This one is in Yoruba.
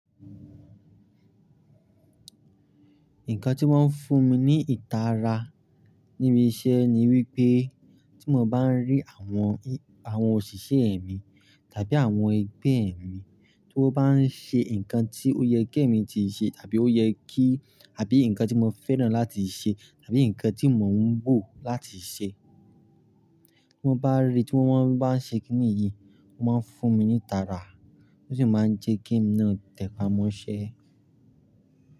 Nǹkan tí wọ́n ń fún mi ní ìtara níbi iṣẹ́ ni wípé tí mo bá ń rí àwọn, àwọn òṣìṣẹ́ ẹ̀ mi tàbí àwọn ẹgbẹ́ mi tí wọ́n bá ń ṣe ǹkan tí ó yẹ kí èmi tíì ṣe tàbí ó yẹ kí àbí ǹkan tí mo fẹ́ràn láti ṣe tàbí ǹkan tí mò ń bọ̀ láti ṣe. Tí mo bá rí i tí wọ́n bá ń ṣe kín níyì, wọ́n máa ń fún mi ní ìtara, ó sì máa ń jẹ́ ge ké emi náà tẹpá mọ́ṣẹ́.